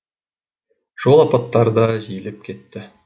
жол апаттары да жиілеп кетті